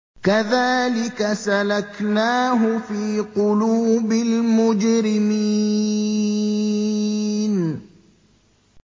كَذَٰلِكَ سَلَكْنَاهُ فِي قُلُوبِ الْمُجْرِمِينَ